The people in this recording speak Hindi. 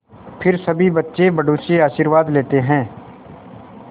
फिर सभी बच्चे बड़ों से आशीर्वाद लेते हैं